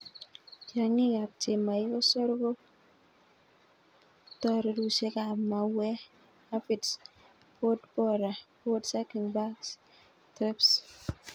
Tiong'ikab chemoikosor ko ptorurusiekab mauwek, aphids, pod borer, pod sucking bugs, thrips.